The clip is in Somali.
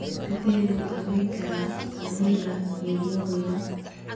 Sidee loo daweyn karaa catamenial limoniyaa?